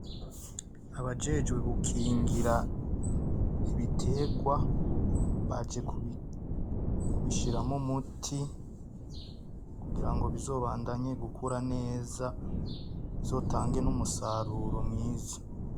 Abajejwe gukingira ibiterwa baje kubishiramwo umuti kugira ngo bizobandanye gukura neza bizotange n'umusaruro mwiza.